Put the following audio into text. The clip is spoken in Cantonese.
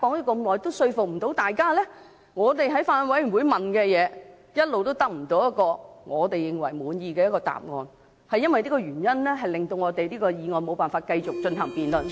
我們在法案委員會提出的問題，一直得不到滿意的答案，因為這個原因，令這項《條例草案》無法繼續進行辯論......